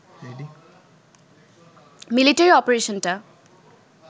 military অপারেশনটা